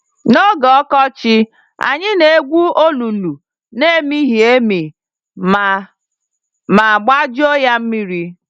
n'oge ọkọchị, anyị na-egwu olulu n'emighị-emi ma ma gbajuo yá mmiri.